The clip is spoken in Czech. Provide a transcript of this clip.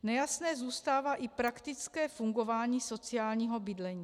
Nejasné zůstává i praktické fungování sociálního bydlení.